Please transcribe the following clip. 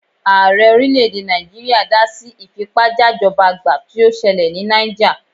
Ààrẹ orílẹ̀-èdè Nàìjíríà dá sí ìfipájajọ́bagbà tí ó ṣẹlẹ̀ ní Náíjà.